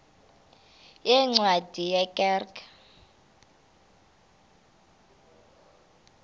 yeencwadi ye kerk